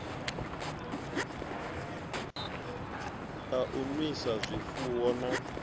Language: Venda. a u nwisa zwifuwo na